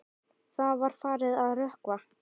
Það var farið að rökkva.